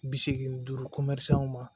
Bi seegin duuru ma